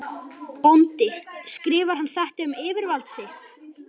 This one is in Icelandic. BÓNDI: Skrifar hann þetta um yfirvald sitt?